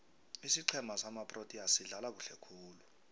isiqhema samaproteas sidlala kuhle khulu